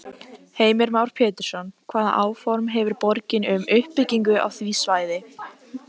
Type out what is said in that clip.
Sóttist ferðin seint, því að skipið var hæggengt og drekkhlaðið korni frá Suður-Ameríku.